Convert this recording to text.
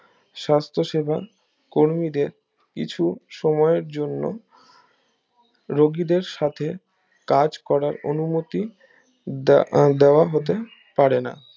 সাস্থ সেবা কর্মীদের কিছু সময়ের জন্য রুগীদের সাথে কাজ করার অনুমতি দেওয়া হতে পারেনা